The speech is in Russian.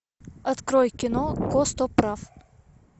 открой кино костоправ